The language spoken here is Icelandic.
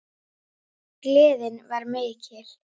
Við spuna rokkur reynist vel.